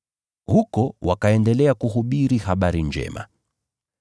Huko wakaendelea kuhubiri habari njema.